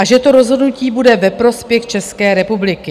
A že to rozhodnutí bude ve prospěch České republiky."